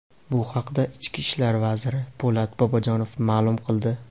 Bu haqda ichki ishlar vaziri Po‘lat Bobojonov ma’lum qildi.